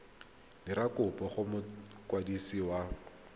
dira kopo go mokwadisi wa